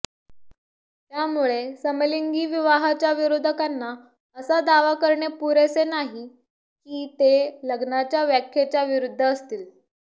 त्यामुळे समलिंगी विवाहाच्या विरोधकांना असा दावा करणे पुरेसे नाही की ते लग्नाच्या व्याख्येच्या विरूद्ध असतील